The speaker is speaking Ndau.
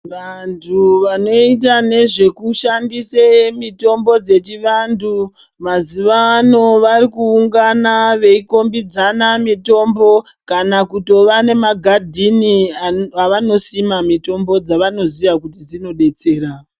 Vantu vanoita nezvekushandise mitombo dzechivantu mazuvano varikuungana veikhombidzana mitombo kana kutova nemagadhini avanosima mitombo dzavanoziya kuti dzinodetsera.